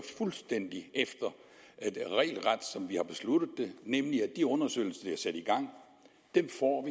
fuldstændig regelret som vi har besluttet det nemlig at de undersøgelser i gang får